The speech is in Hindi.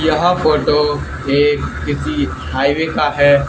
यह फोटो ये किसी हाइवे का है।